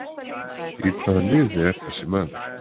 Í hvaða liði er þessi maður?